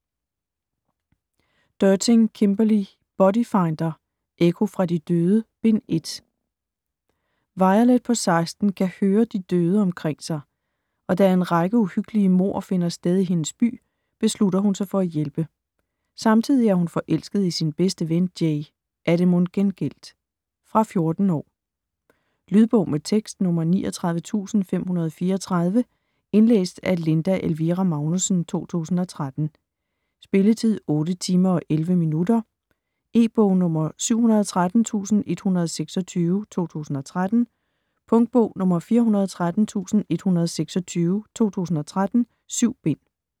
Derting, Kimberly: Body finder: Ekko fra de døde: Bind 1 Violet på 16 kan høre de døde omkring sig, og da en række uhyggelige mord finder sted i hendes by, beslutter hun sig for at hjælpe. Samtidig er hun forelsket i sin bedste ven, Jay. Er det mon gengældt? Fra 14 år. Lydbog med tekst 39534 Indlæst af Linda Elvira Magnussen, 2013. Spilletid: 8 timer, 11 minutter. E-bog 713126 2013. Punktbog 413126 2013. 7 bind.